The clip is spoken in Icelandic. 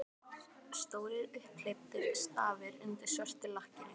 Stórir, upphleyptir stafir undir svörtu lakkinu!